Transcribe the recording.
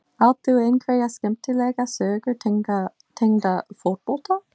Átt þú einhverja skemmtilega sögu tengda fótbolta?